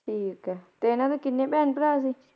ਠੀਕ ਹੈ, ਤੇ ਏਨਾ ਦੇ ਕਿੰਨੇ ਭੈਣ ਭਰਾ ਸੀ?